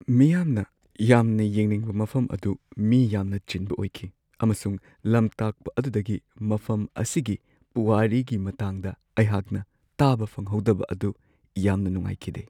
ꯃꯤꯌꯥꯝꯅ ꯌꯥꯝꯅ ꯌꯦꯡꯅꯤꯡꯕ ꯃꯐꯝ ꯑꯗꯨ ꯃꯤ ꯌꯥꯝꯅ ꯆꯤꯟꯕ ꯑꯣꯏꯈꯤ, ꯑꯃꯁꯨꯡ ꯂꯝꯇꯥꯛꯄ ꯑꯗꯨꯗꯒꯤ ꯃꯐꯝ ꯑꯁꯤꯒꯤ ꯄꯨꯋꯥꯔꯤꯒꯤ ꯃꯇꯥꯡꯗ ꯑꯩꯍꯥꯛꯅ ꯇꯥꯕ ꯐꯪꯍꯧꯗꯕ ꯑꯗꯨ ꯌꯥꯝꯅ ꯅꯨꯡꯉꯥꯏꯈꯤꯗꯦ ꯫